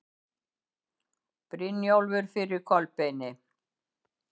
Brynjólfur fyrir Kolbeini.